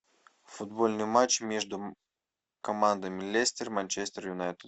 футбольный матч между командами лестер манчестер юнайтед